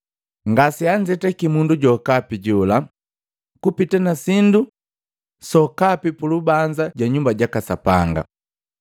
Ngase anzetakii mundu jokapi jola kupita nasindu sokapi pulubanza ja Nyumba jaka Sapanga.